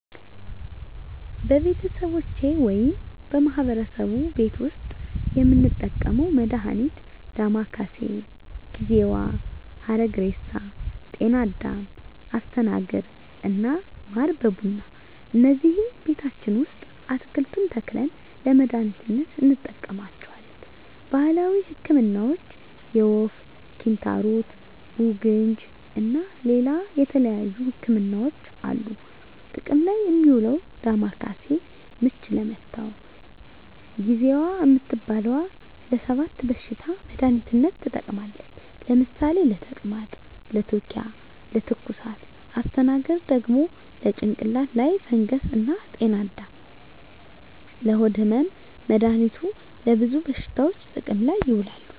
በቤተሰቦቼ ወይም በማህበረሰቡ ቤት ዉስጥ የምንጠቀመዉ መድሃኒት ዳማከሴ፣ ጊዜዋ፣ ሀረግሬሳ፣ ጤናአዳም፣ አስተናግር እና ማር በቡና እነዚህን ቤታችን ዉስጥ አትክልቱን ተክለን ለመድሃኒትነት እንጠቀማቸዋለን። ባህላዊ ህክምናዎች የወፍ፣ ኪንታሮት፣ ቡግንጂ እና ሌላ የተለያዩ ህክምናዎች አሉ። ጥቅም ላይ እሚዉለዉ ዳማከሴ፦ ምች ለመታዉ፣ ጊዜዋ እምትባለዋ ለ 7 በሽታዎች መድሃኒትነት ትጠቅማለች ለምሳሌ፦ ለተቅማጥ፣ ለትዉኪያ፣ ለትኩሳት... ፣ አስተናግር፦ ለጭንቅላት ላይ ፈንገስ እና ጤናአዳም፦ ለሆድ ህመም... መድሃኒቱ ለብዙ በሽታዎች ጥቅም ላይ ይዉላሉ።